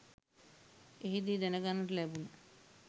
එහිදී දැනගන්නට ලැබුණ